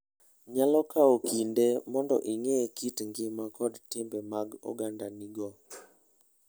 Nyalo kawo kinde mondo ing'e kit ngima kod timbe mag ogendinigo.